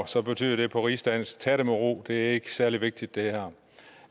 så betyder det på rigsdansk tag den med ro det er ikke særlig vigtigt det her